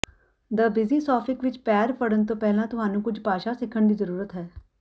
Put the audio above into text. ਦ ਬਿਜੀ ਸੌਫਿਕ ਵਿੱਚ ਪੈਰ ਫੜਣ ਤੋਂ ਪਹਿਲਾਂ ਤੁਹਾਨੂੰ ਕੁਝ ਭਾਸ਼ਾ ਸਿੱਖਣ ਦੀ ਜ਼ਰੂਰਤ ਹੈ